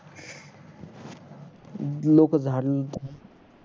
लोक झाड